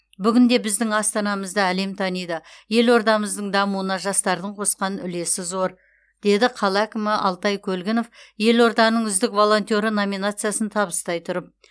бүгінде біздің астанамызды әлем таниды елордамыздың дамуына жастардың қосқан үлесі зор деді қала әкімі алтай көлгінов елорданың үздік волонтеры номинациясын табыстай тұрып